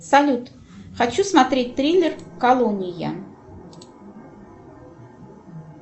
салют хочу смотреть триллер колония